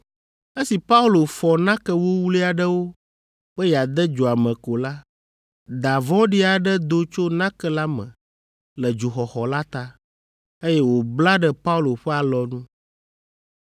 Esi Paulo fɔ nake wuwlui aɖewo be yeade dzoa me ko la, da vɔ̃ɖi aɖe do tso nake la me, le dzoxɔxɔ la ta, eye wòbla ɖe Paulo ƒe alɔnu.